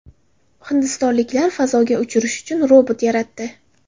Hindistonliklar fazoga uchirish uchun robot yaratdi.